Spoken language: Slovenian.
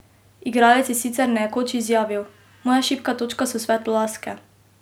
Igralec je sicer nekoč izjavil: "Moja šibka točka so svetlolaske.